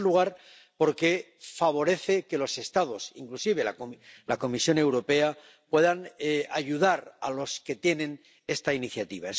En primer lugar, porque favorece que los Estados, inclusive la Comisión Europea, puedan ayudar a los que tienen esta iniciativa.